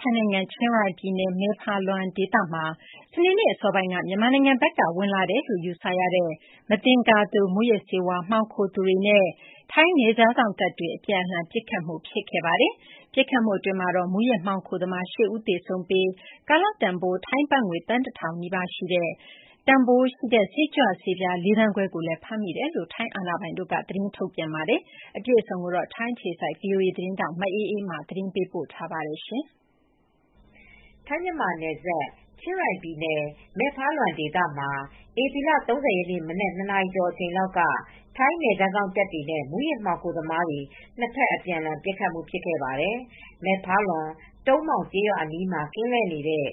ထိုင်းနိုင်ငံ ချင်းရိုင်ပြည်နယ်၊ မယ့်ဖာလွမ်ဒေသမှာ စနေနေ့ အစောပိုင်းက မြန်မာနိုင်ငံဘက်က ဝင်ရောက်လာတယ်လို့ ယူဆရတဲ့ မသင်္ကာသူ မူးယစ်ဆေးဝါး မှောင်ခိုသူတွေနဲ့ ထိုင်းနယ်ခြားစောင့်တပ်တွေ အပြန်အလှန် ပစ်ခတ်မှု ဖြစ်ခဲ့ပါတယ်။ ပစ်ခတ်မှုမှာ မူးယစ်မှောင်ခိုသမား ၈ ဦး သေဆုံးခဲ့ပြီး ကာလတန်ဖိုး ထိုင်းဘတ်ငွေ သန်းတထောင်နီးပါး တန်ဖိုးရှိတဲ့ စိတ်ကြွဆးပြား ၄ သန်းခွဲကိုလည်း ဖမ်းမိတယ်လို့ ထိုင်းအာဏာပိုင်တွေ သတင်းထုတ်ပြန်ခဲ့တာပါ။ အပြည့်အစုံကိုတော့ ထိုင်းအခြေစိုက် ဗွီအိုအေ မြန်မာပိုင်း သတင်းထောက် မအေးအေးမာ သတင်းပေးပို့ထားပါတယ်။ ထိုင်း-မြန်မာနယ်စပ် ချင်းရိုင်ပြည်နယ် မယ့်ဖာလွမ်ဒေသမှာ ဧပြီလ ၃၀ ရက်နေ့ မနက် ၂ နာရီကျော်အချိန်လောက်က ထိုင်းနယ်ခြားစောင့်တပ်တွေနဲ့ မူးယစ်မှောင်ခိုသမားတွေ နှစ်ဖက် အပြန်အလှန်ပစ်ခတ်မှု ဖြစ်ခဲ့ပါတယ်။ မယ့်ဖာလွမ် တုံမောင်ကျေးရွာအနီးမှာ ကင်းလှည့်နေတဲ့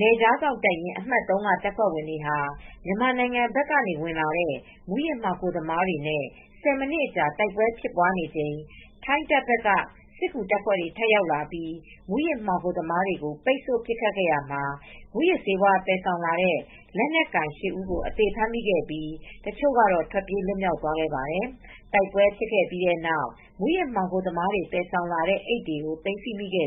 ထိုင်းနယ်ခြားစောင့်တပ်ရင်း အမှတ် ၃ က တပ်ဖွဲ့ဝင်တွေဟာ မြန်မာနိုင်ငံဘက်ကနေ ဝင်လာတဲ့ မူးယစ်မှောင်ခိုသမားတွေနဲ့ ၁၀ မိနစ်အကြာ နှစ်ဖက်တိုက်ပွဲတွေ ဖြစ်နေချိန် ထိုင်းတပ်ဘက်က စစ်ကူတပ်ဖွဲ့တွေ ထပ်ရောက်လာပြီး မူးယစ်မှောင်ခိုသမားတွေကို ပိတ်ဆို့ပစ်ခတ်ရာမှာ မူးယစ်ဆေးဝါး သယ်ဆောင်လာတဲ့ လက်နက်ကိုင် ၈ ဦးကို အသေဖမ်းမိခဲ့ပြီး တချို့ကတော့ ထွက်ပြေးလွတ်မြောက်သွားခဲ့ပါတယ်။ တိုက်ပွဲဖြစ်ပြီးတဲ့နောက် မူးယစ်မှောင်ခိုသမားတွေ သယ်ဆောင်လာတဲ့ အိတ်တွေ သိမ်းဆည်းမိပြီး အဲ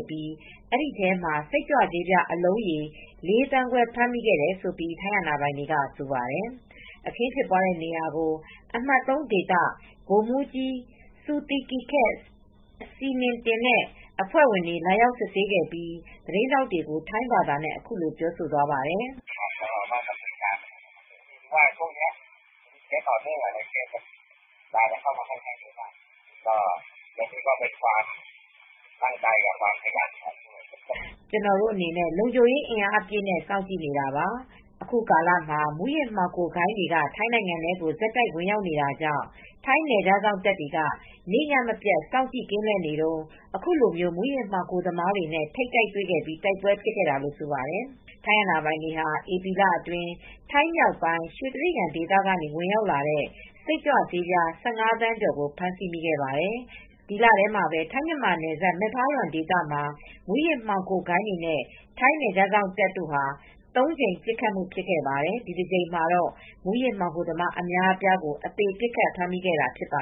ဒီထဲမှာ စိတ်ကြွဆေးပြား အလုံးရေ ၄ သန်းခွဲ ဖမ်းမိခဲ့တယ်လို့ ထိုင်းအာဏာပိုင်တွေက ဆိုပါတယ်။ အခင်းဖြစ်ပွားတဲ့နေရာကို အမတ် ၃ ဒေသ ဗိုလ်မှူးကြီး Suthikhet Srininthin နဲ့ အဖွဲ့ဝင်တွေ လာရောက်စစ်ဆေးပြီး သတင်းထောက်တွေကို ထိုင်းဘာသာနဲ့ အခုလို ပြောသွားပါတယ်။ “ကျနော်တို့အနေနဲ့ လုံခြုံရေးအင်အားအပြည့်နဲ့ စောင့်ကြည့်နေတာပါ။ အခုကာလမှာ မူးယစ်မှောင်ခိုဂိုဏ်းတွေက ထိုင်းနိုင်ငံထဲကို ဆက်တိုက်ဝင်ရောက်နေတာကြောင့် ထိုင်းနယ်ခြားစောင့်တပ်တွေက နေ့ညမပြတ် စောင့်ကြည့် ကင်းလှည့်နေတုန်း အခုလို မူးယစ်မှောင်ခိုသမားတွေနဲ့ ထိပ်တိုက်တွေ့ခဲ့ပြီး တိုက်ပွဲဖြစ်ခဲ့တာ။” လို့ ဆိုပါတယ်။ ထိုင်းအာဏာပိုင်တွေဟာ ဧပြီလအတွင်း ထိုင်းမြောက်ပိုင်း ရွှေတြိဂံဒေသကနေ ဝင်ရောက်လာတဲ့ စိတ်ကြွဆေးပြား ၁၅ သန်းကျော်ကို ဖမ်းဆီးမိခဲ့ပါတယ်။ ဒီလထဲမှာပဲ ထိုင်း-မြန်မာနယ်စပ် မယ့်ဖာလွမ်ဒေသမှာ မူးယစ်မှောင်ခိုဂိုဏ်းတွေနဲ့ ထိုင်းနယ်ခြားစောင့်တပ်တို့ ၃ ကြိမ် ပစ်ခတ်မှု ဖြစ်ခဲ့ပါတယ်။ ဒီတကြိမ်မှာတော့ မူးယစ်မှောင်ခိုသမား အများအပြားကို အသေပစ်ခတ် ဖမ်းမိခဲ့တာ ဖြစ်ပါ